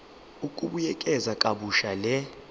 ukubuyekeza kabusha le